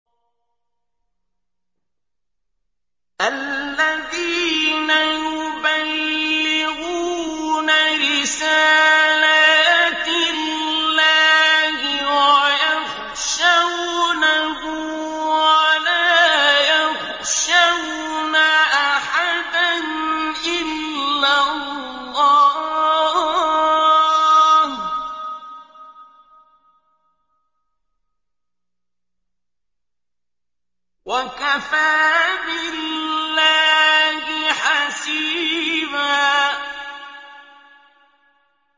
الَّذِينَ يُبَلِّغُونَ رِسَالَاتِ اللَّهِ وَيَخْشَوْنَهُ وَلَا يَخْشَوْنَ أَحَدًا إِلَّا اللَّهَ ۗ وَكَفَىٰ بِاللَّهِ حَسِيبًا